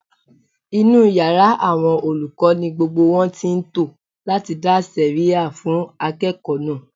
Inú yàrá àwọn olùkọ́ ni gbogbo wọn ti ń tò láti dá sẹ̀rẹ́ha fún akẹ́kọ̀ọ́ náà